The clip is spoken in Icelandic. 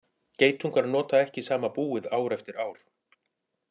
Geitungar nota ekki sama búið ár eftir ár.